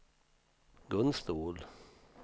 Gun Ståhl